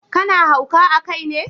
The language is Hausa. Ka na hauka a kai ne?